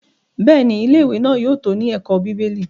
Bẹ́ẹ̀ni, Ilé-ìwé náà yóò tó ní ẹ̀kọ́ bíbélì.